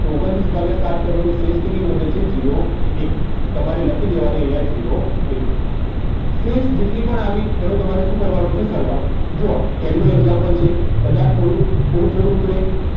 તો ઓગન્ત્રીસ ભાગ્યા સાત કરું છું તો શેષ કેટલી વધે છે zero એક તમારે લખી દેવાની અહીંયા zero એક શેષ જેટલી પણ આવી એનો શું કરવાનો છે સરવાળો જુઓ પહેલો જ example છે કદાચ થોડું થોડું ઉતરશે